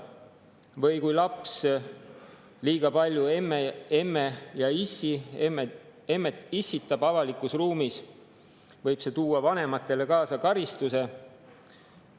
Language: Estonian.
Või kui laps liiga palju emmetab ja issitab avalikus ruumis, siis võib see tuua vanematele kaasa karistuse.